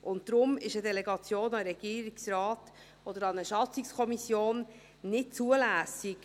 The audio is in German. Deshalb ist eine Delegation an den Regierungsrat oder an eine Schatzungskommission nicht zulässig.